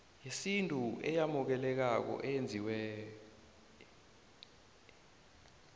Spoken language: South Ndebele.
yesintu eyamukelekako eyenziwe